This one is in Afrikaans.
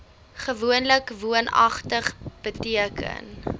gewoonlik woonagtig beteken